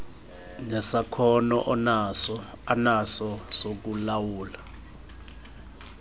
nesakhono anaso sokulawula